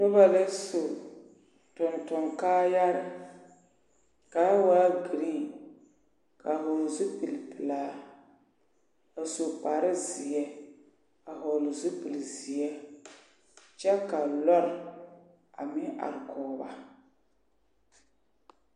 Noba la su tonton kaayare kaa waa girin ka vɔgl zupil pilaa a su kpare zeɛ vɔgle zupil zeɛ kyɛ ka lɔr a meŋ are kɔge ba .